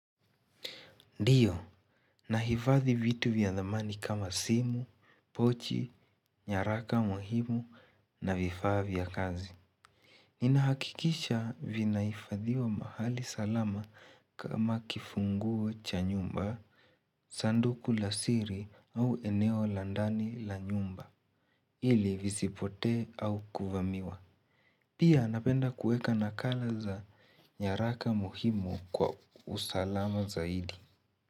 Ndiyo, nahifadhi vitu vya thamani kama simu, pochi, nyaraka muhimu na vifaa vya kazi. Ninahakikisha vinahifadhiwa mahali salama kama kifunguo cha nyumba, sanduku la siri au enelo la ndani la nyumba ili visipotee au kuvamiwa. Pia napenda kuweka nakala za nyaraka muhimu kwa usalama zaidi.